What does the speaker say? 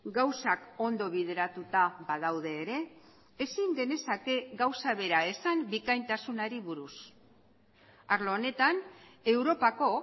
gauzak ondo bideratuta badaude ere ezin genezake gauza bera esan bikaintasunari buruz arlo honetan europako